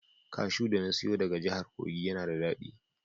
Kashu da na siyo daga jahar kogi yana da dadi.